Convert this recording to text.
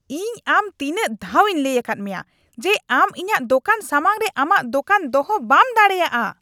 ᱤᱧ ᱟᱢ ᱛᱤᱱᱟᱹᱜ ᱫᱷᱟᱣᱤᱧ ᱞᱟᱹᱭ ᱟᱠᱟᱫ ᱢᱮᱭᱟ ᱡᱮ ᱟᱢ ᱤᱧᱟᱹᱜ ᱫᱚᱠᱟᱱ ᱥᱟᱢᱟᱝ ᱨᱮ ᱟᱢᱟᱜ ᱫᱚᱠᱟᱱ ᱫᱚᱦᱚ ᱵᱟᱢ ᱫᱟᱲᱮᱭᱟᱜᱼᱟ ? (ᱫᱚᱠᱟᱱᱫᱟᱨ)